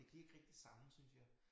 Det giver ikke rigtig samme synes jeg